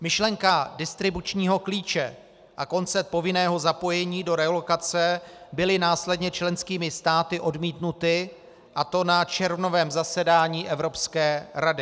Myšlenka distribučního klíče a koncept povinného zapojení do relokace byly následně členskými státy odmítnuty, a to na červnovém zasedání Evropské rady.